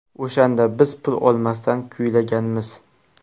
O‘shanda biz pul olmasdan kuylaganmiz.